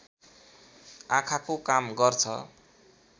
आँखाको काम गर्छ